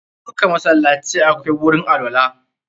Dukka masallacai akwai gurin alwala.